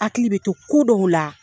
Hakili bɛ to kodɔw la